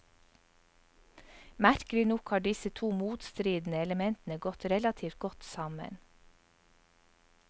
Merkelig nok har disse to motstridende elementene gått relativt godt sammen.